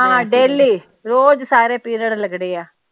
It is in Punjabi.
ਹਾਂ ਹਾਂ ਡੈਲੀ ਰੋਜ਼ ਸਾਰੇ ਪੀਰੀਅਡ ਲੱਗਣੇ ਆ।